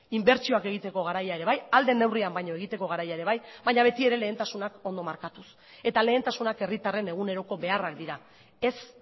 inbertsioak egiteko garaia ere bai ahal den neurrian baina egiteko garaia ere bai baina beti ere lehentasunak ondo markatuz eta lehentasunak herritarren eguneroko beharrak dira ez